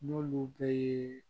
N'olu bɛɛ ye